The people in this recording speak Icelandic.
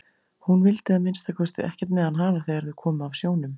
Hún vildi að minnsta kosti ekkert með hann hafa þegar þau komu af sjónum.